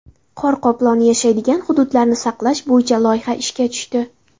Qor qoploni yashaydigan hududlarni saqlash bo‘yicha loyiha ishga tushdi.